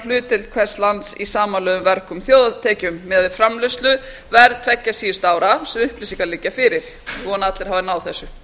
hlutdeild hvers lands í samanlögðum vergum þjóðartekjum miðað við framleiðsluverð tveggja síðustu ára sem upplýsingar liggja fyrir ég vona að allir hafi náð þessu